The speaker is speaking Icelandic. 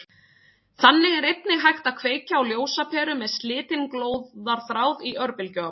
Þannig er einnig hægt að kveikja á ljósaperu með slitinn glóðarþráð í örbylgjuofni.